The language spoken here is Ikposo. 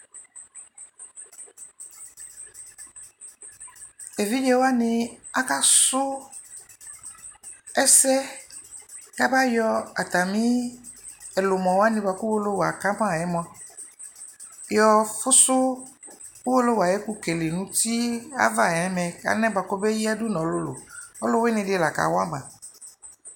Evidze wani akasu ɛsɛ ku abayɔ atami ɛlumɔ wani buaku uwolowu akama yɛ mua yɔfusu uwolowu ayu ɛkukele nu uti ava nɛmɛ anɛ buaku ɔmeyadu nu ɔlulu Ɔluwini di lakawa ma